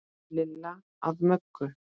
Lilla að Möggu.